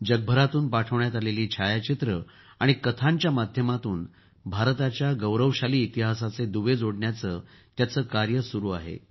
जगभरातून पाठवण्यात आलेली छायाचित्रं आणि कथांच्या माध्यमातून भारताच्या गौरवशाली इतिहासाचे दुवे जोडण्याचं त्याचं कार्य सुरू आहे